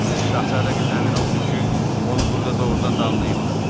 Şahzadə qız əmin oldu ki, onu burda doğrudan da anlayırlar.